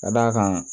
Ka d'a kan